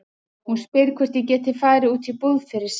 Hún spyr hvort ég geti farið út í búð fyrir sig.